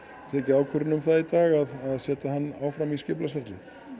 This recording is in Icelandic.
tekið ákvörðun um það í dag að setja hann áfram í skipulagsferli í